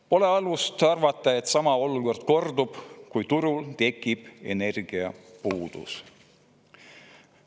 Pole alust arvata, et sama olukord korduda, kui turul tekib energiapuudus.